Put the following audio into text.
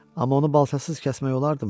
Amma onu balcasız kəsmək olardımı?